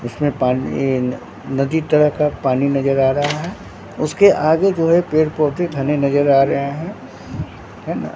जिसमें पानी न नदी तरह का पानी नजर आ रहा है उसके आगे बूढ़े पेड़ पौधे घने नजर आ रहे हैं हैं न--